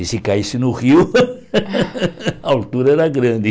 E se caísse no rio, a altura era grande.